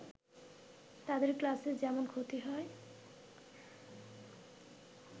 তাদের ক্লাসের যেমন ক্ষতি হয়